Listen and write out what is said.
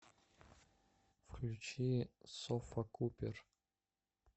включи софа купер